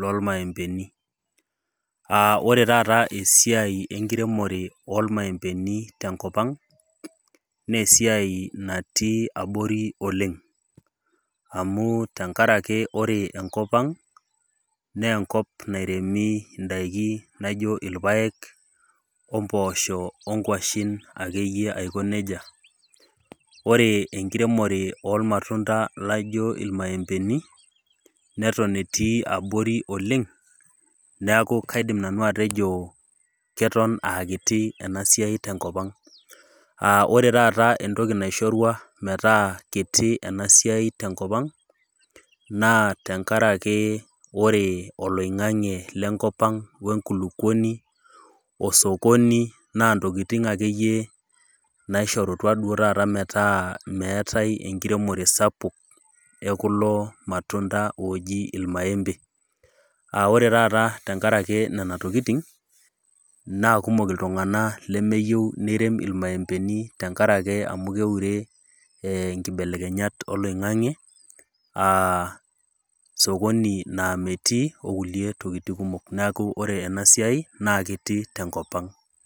lolmaembeni. Aa ore taata esiai enkiremore oo ilmaembeni tenkop ang' naa esiai natii abori oleng'. Amu ore tenkaraki enkop ang' naa enkop nairemi indaiki naijo ilpaek, o impoosho, o inkwashen ake iyie aiko neija. Ore enkiremore oo ilmatunda laijo ilmaempeni, neton etii abori oleng' neaku aidim nanu atejo keton aa kiti ena siai te enkop ang', aa ore taata entoki naishorua metaa kiti ena siai tenkopang, ' naa tenkaraki ore oloing'ang'e le enkop ang', we enkulukuomi, o sokoni naa intokitin ake iyie naishorutua duo taata metaa meata enkiremore sapuk, e kulo ilmatunda ooji ilmaembe. Naa ore taata enkaraki nena tokitin, naa kumok iltung'ana lemeyou neirem ilmaembeni tenkop ang' tenkaraki keure inkibelekenyat oloing'ang'e aa sokoni naa metii o kulie tokitin kumok. Naa ore ena siai naa kiti te enkop ang'.